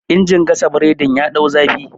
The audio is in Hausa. injin gasa boredin ya dau zafi